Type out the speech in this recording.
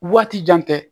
Waati jan tɛ